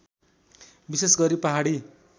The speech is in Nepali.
विशेष गरी पहाडी